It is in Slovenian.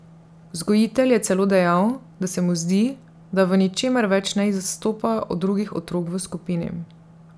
Vzgojitelj je celo dejal, da se mu zdi, da v ničemer več ne izstopa od drugih otrok v skupini.